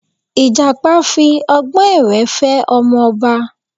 Ìjàpá fi ọgbọ́n èwé fẹ́ ọmọ ọba